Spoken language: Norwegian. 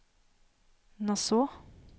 Nassau